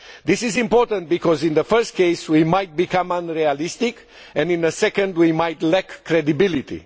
This is important because in the first case we might become unrealistic and in the second we might lack credibility.